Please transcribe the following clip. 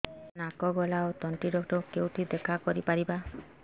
ସାର ନାକ ଗଳା ଓ ତଣ୍ଟି ଡକ୍ଟର ଙ୍କୁ କେଉଁଠି ଦେଖା କରିପାରିବା